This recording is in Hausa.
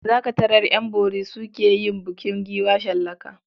Za ka tarar ƴan bori su ke yin bukin giwa shallaka.